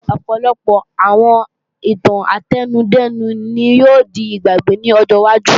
Ọ̀pọ̀lọpọ̀ àwọn ìtàn átẹnudẹ́nu ni yóò di ìgbàgbé lọ́jọ́ wájú